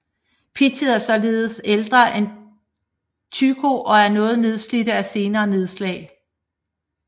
Pictet er således ældre end Tycho og er noget nedslidt af senere nedslag